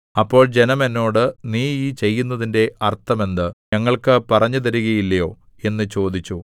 അപ്പോൾ ജനം എന്നോട് നീ ഈ ചെയ്യുന്നതിന്റെ അർത്ഥം എന്ത് ഞങ്ങൾക്കു പറഞ്ഞുതരുകയില്ലയോ എന്ന് ചോദിച്ചു